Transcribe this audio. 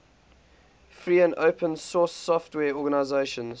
free and open source software organizations